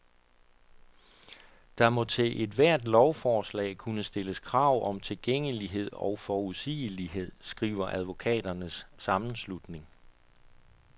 Der må til ethvert lovforslag kunne stilles krav om tilgængelighed og forudsigelighed, skriver advokaternes sammenslutning.